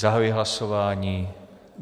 Zahajuji hlasování.